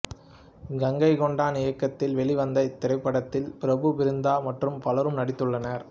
கங்கை கொண்டான் இயக்கத்தில் வெளிவந்த இத்திரைப்படத்தில் பிரபு பிருந்நா மற்றும் பலரும் நடித்துள்ளனர்